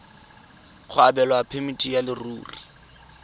go abelwa phemiti ya leruri